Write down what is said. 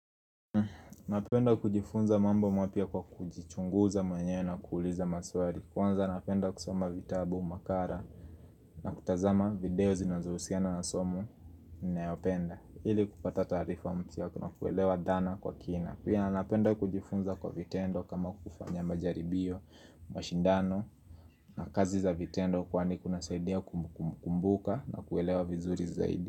Napenda kujifunza mambo mwapya kwa kujichunguza mwenyewe na kuuliza maswali Kwanza napenda kusoma vitabu makara na kutazama video zinazohusiana na somo ninayopenda Hili kupata taarifa mpya na kuelewa dana kwa kina Pia napenda kujifunza kwa vitendo kama kufanya majaribiyo mashindano na kazi za vitendo kwa ni kuna saidia kumbuka na kuelewa vizuri zaidi.